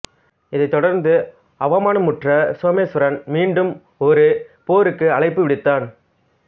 இதைத் தொடர்ந்து அவமானமுற்ற சோமேஸ்வரன் மீண்டும் ஒரு போருக்கு அழைப்பு விடுத்தான்